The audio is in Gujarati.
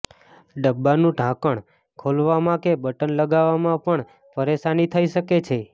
ડબ્બાનુ ઢાંકણ ખોલવામાં કે બટન લગાવવામાં પણ પરેશાની થઈ શકે છે